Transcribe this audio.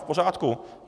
V pořádku.